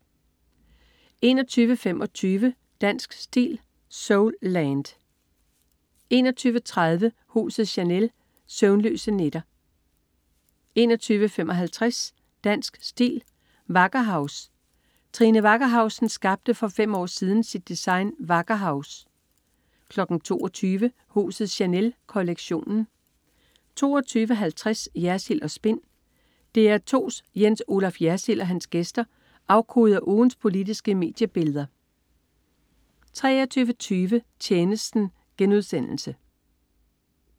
21.25 Dansk Stil: Soulland 21.30 Huset Chanel. Søvnløse nætter 21.55 Dansk Stil: wackerhaus. Trine Wackerhausen skabte for fem år siden sit design "wackerhaus" 22.00 Huset Chanel. Kollektionen 22.50 Jersild & Spin. DR2's Jens Olaf Jersild og hans gæster afkoder ugens politiske mediebilleder 23.20 Tjenesten*